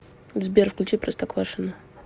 сбер включи простоквашино